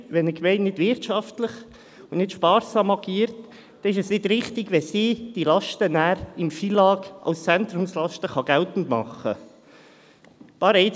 Wenn eine Gemeinde nicht wirtschaftlich und nicht sparsam agiert, ist es nicht richtig, wenn sie diese Lasten nachher im Rahmen des FILAG bei den Zentrumslasten geltend machen kann.